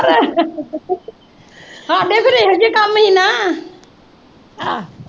ਆਹੋ